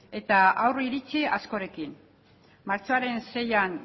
eta aurreiritzi askorekin martxoaren seian